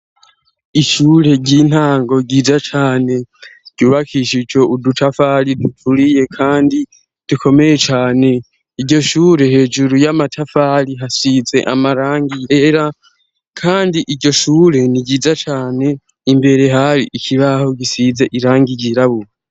Ishure ry'intango yiza cane ryubakishe ico udutafali duturiye kandi dukomeye cyane ijyo shure hejuru y'amatafali hasize amarangi yera kandi iryo shure ni giza cyane imbere hari ikibaho gisize irangi ryirabura.